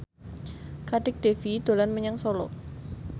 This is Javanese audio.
Kadek Devi dolan menyang Solo